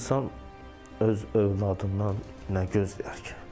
İnsan öz övladından nə gözləyər ki?